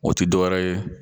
O ti dɔwɛrɛ ye